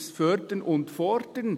das Fördern und Fordern.